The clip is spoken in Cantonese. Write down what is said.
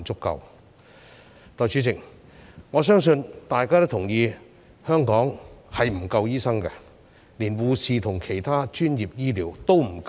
代理主席，我相信大家也同意，香港是醫生不足的，連護士和其他專業醫護也不夠。